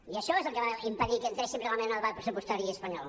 i això és el que va impedir que entréssim realment en el debat pressupostari espanyol